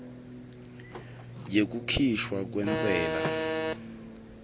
yekukhishwa kwentsela